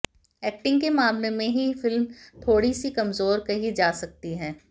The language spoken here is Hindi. एक्टिंग के मामले में ही फिल्म थोड़ी सी कमजोर कही जा सकती है